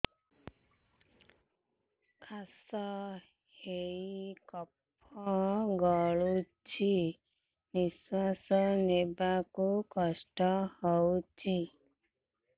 କାଶ ହେଇ କଫ ଗଳୁଛି ନିଶ୍ୱାସ ନେବାକୁ କଷ୍ଟ ହଉଛି